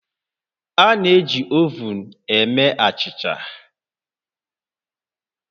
A na-eji ovun eme achịcha